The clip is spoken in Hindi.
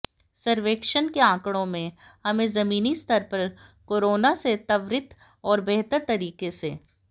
सर्वेक्षण के आंकड़ों से हमें जमीनी स्तर पर कोरोना से त्वरित और बेहतर तरीके से